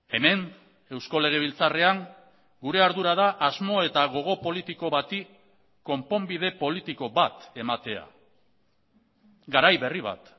hemen eusko legebiltzarrean gure ardura da asmo eta gogo politiko bati konponbide politiko bat ematea garai berri bat